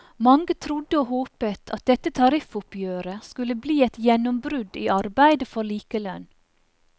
Mange trodde og håpet at dette tariffoppgjøret skulle bli et gjennombrudd i arbeidet for likelønn.